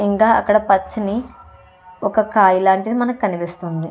అక్కడ పచ్చని ఒక కాయ లాంటిది మనకి కనిపిసిస్తుంది.